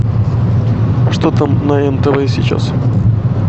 что там на нтв сейчас